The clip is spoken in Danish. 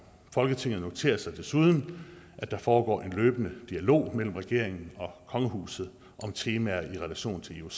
folketinget noterer sig desuden at der foregår en løbende dialog mellem regeringen og kongehuset om temaer i relation til ioc